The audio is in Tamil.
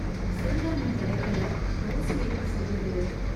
சிறுதானியம் கிடைக்கல, தோசை எப்படி சுடுறது?